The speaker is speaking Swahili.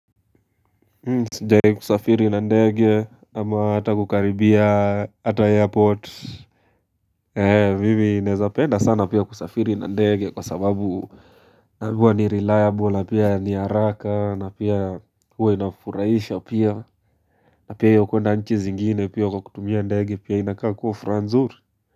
Sijai kusafiri na ndege ama hata kukaribia hata airport eh mimi naezapenda sana pia kusafiri na ndege kwa sababu ni reliable pia ni haraka na pia huwa inafuraisha pia na pia ya kuenda nchi zingine pia kukutumia ndege pia inakaa kuwa furaha nzuri.